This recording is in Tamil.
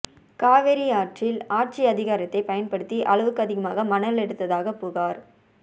காவிரி ஆற்றில் ஆட்சி அதிகாரத்தை பயன்படுத்தி அளவுக்கு அதிகமாக மணல் எடுத்ததாக புகார்